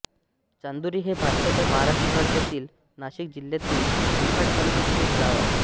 चांदोरी हे भारताच्या महाराष्ट्र राज्यातील नाशिक जिल्ह्यातील निफाड तालुक्यातील एक गाव आहे